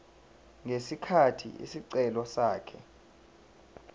ngesikhathi isicelo sakhe